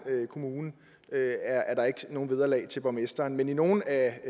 kommune er nogen vederlag til borgmesteren men i nogle af